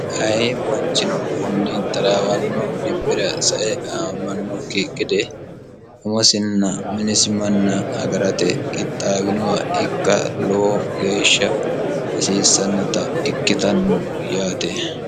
ayi manchino kunni taraawanno dibbira sae amannokki gede umosinna minisimanna agarate qixxaawinoha ikka lowo geeshsha hasiissannota ikkitanno yaate